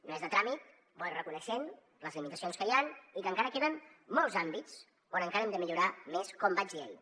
no és de tràmit bo i reconeixent les limitacions que hi han i que encara queden molts àmbits on encara hem de millorar més com vaig dir ahir